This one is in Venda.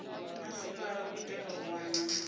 masipala u itela u wana